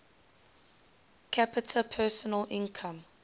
capita personal income